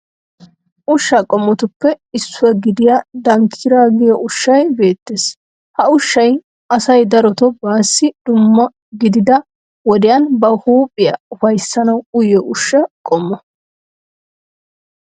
Ushshaa qommotuppe issuwa gidiyaa dankkiraa giyo ushshayi beettees. Ha ushshay asay darotoo baassi dumma gidida wodiyaan ba huuphiya ufayissanawu uyiyo ushsha qommo.